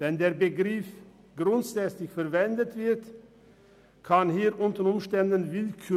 Wenn der Begriff «grundsätzlich» verwendet wird, herrscht hier unter Umständen Willkür.